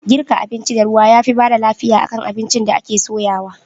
Girka abinci da ruwa yafi bada lafiya akan abincin da ake soyawa